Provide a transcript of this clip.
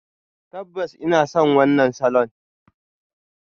Tabbas ina son wannan salon.